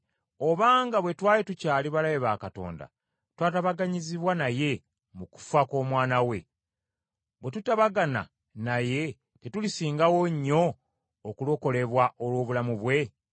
Kale obanga bwe twali tukyali balabe ba Katonda twatabaganyizibwa naye mu kufa kw’Omwana we, bwe tutabagana naye tetulisingawo nnyo okulokolebwa olw’obulamu bwe?